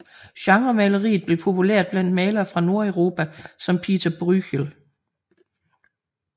Genremaleriet blev populært blandt malere fra Nordeuropa som Pieter Bruegel